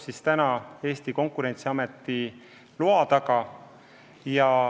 See ootab Konkurentsiameti loa taga.